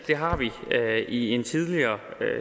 det har vi i en tidligere